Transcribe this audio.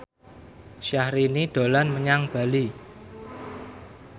Syahrini dolan menyang Bali